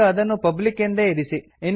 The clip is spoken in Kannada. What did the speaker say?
ಈಗ ಅದನ್ನು ಪಬ್ಲಿಕ್ ಎಂದೇ ಇರಿಸಿ